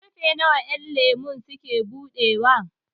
ƙarfe nawa ƴanlemo suke buɗewa?